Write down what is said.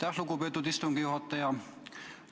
Aitäh, lugupeetud istungi juhataja!